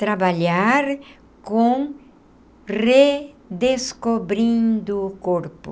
Trabalhar com redescobrindo o corpo.